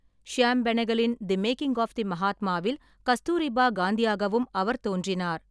ஷியாம் பெனகலின் the making of the மகாத்மாவில் கஸ்தூரிபா காந்தியாகவும் அவர் தோன்றினார்.